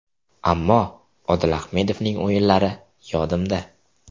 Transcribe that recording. Ammo Odil Ahmedovning o‘yinlari yodimda.